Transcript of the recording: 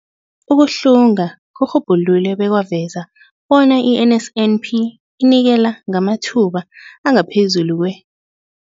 Ukuhlunga kurhubhulule bekwaveza bona i-NSNP inikela ngamathuba angaphezulu kwe-